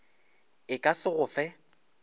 e ka se go fe